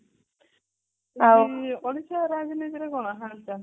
ଓଡିଶା ରାଜନୀତି ରେ କଣ ହଲ ଚାଲ